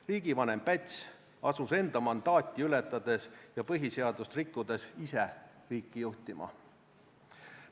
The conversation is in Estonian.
Riigivanem Päts asus enda mandaati ületades ja põhiseadust rikkudes ise riiki juhtima.